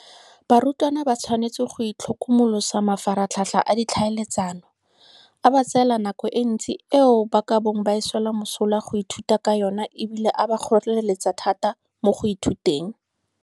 Barutwana ba tshwanetse go itlhokomolosa mafaratlhatlha a ditlhaeletsano, a ba tseela nako e ntsi eo ba ka bong ba e swela mosola ka go ithuta ka yona e bile a ba kgoreletsa thata mo go ithuteng.